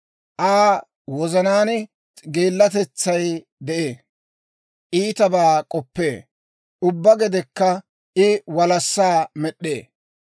Aa wozanaan geellatetsay de'ee; I iitabaa k'oppee; ubbaa gedekka I walassaa med'd'ee.